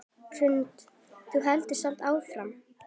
Hrund: Þú heldur samt áfram?